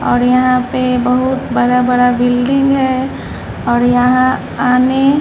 और यहाँ पे बहुत बड़ा-बड़ा बिल्डिंग है और यहाँ आने --